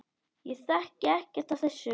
Ég þekki ekkert af þessu.